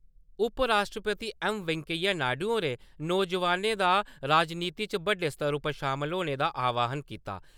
उपराष्ट्रपति एम . वैंकैया नायडु होरें नौजवानें दा राजनीति च बड्डे स्तर उप्पर शामल होने दा आह्वान कीता ।